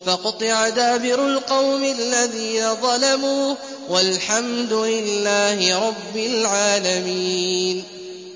فَقُطِعَ دَابِرُ الْقَوْمِ الَّذِينَ ظَلَمُوا ۚ وَالْحَمْدُ لِلَّهِ رَبِّ الْعَالَمِينَ